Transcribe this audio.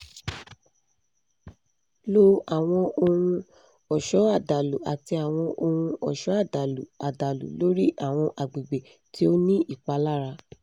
lo awọn ohun-ọṣọ adalu ati awọn ohun-ọṣọ adalu adalu lori awọn agbegbe ti o ni ipalara